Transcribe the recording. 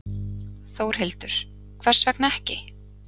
Þórhildur: Hvers vegna ekki?